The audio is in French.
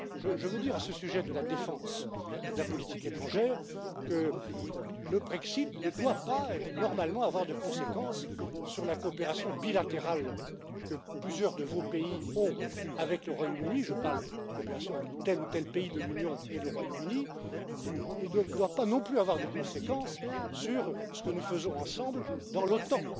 Je veux dire à ce sujet de la défense et de la politique étrangère que le Brexit ne doit pas normalement avoir de conséquences sur la coopération bilatérale que plusieurs de vos pays ont avec le Royaume Uni je parle de coopération entre tel ou tel pays de l'Union et le Royaume Uni et donc ne doit pas non plus avoir de conséquences sur ce que nous faisons ensemble dans l'OTAN.